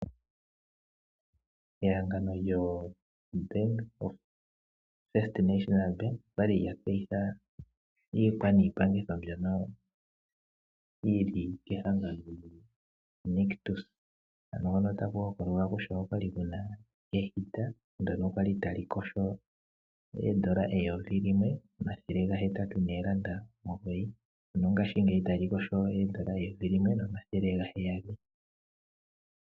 Ehangano lyo first National Bank okwali lya tseyitha iikwa niipangitho mbyono yili kehangano lyoNictus ano hono taku hokolwa kutya okwa li kuna eshina lyokupupyaleka ndyono kwali tali lina N$1809 ngaashingeyi olina N$1699.